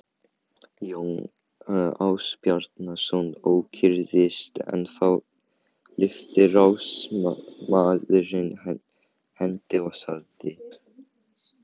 Jón Ásbjarnarson ókyrrðist en þá lyfti ráðsmaðurinn hendi og sagði